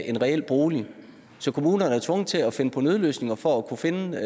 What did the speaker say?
en reel bolig så kommunerne er tvunget til at finde på nødløsninger for at kunne finde